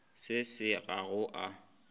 se se ga go a